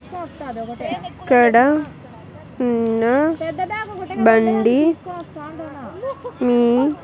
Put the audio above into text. ఇక్కడ ఉన్న బండి మీ .